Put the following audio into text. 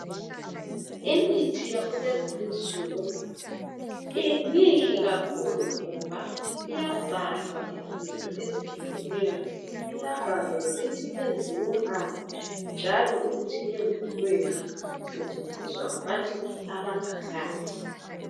Imithi yakulezi insuku mihle kakhulu ngoba iyabhalwa izinto ezehlukeneyo ukuthi yenziwe ngani yenzelweni njalo isetshenziswa ngabantu abanganani.